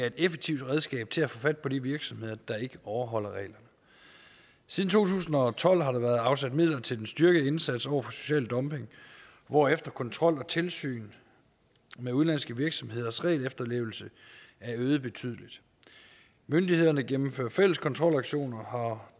et effektivt redskab til at få fat på de virksomheder der ikke overholder reglerne siden to tusind og tolv har der været afsat midler til den styrkede indsats over for social dumping hvorefter kontrol og tilsyn med udenlandske virksomheders regelefterlevelse er øget betydeligt myndighederne gennemfører fælles kontrolaktioner og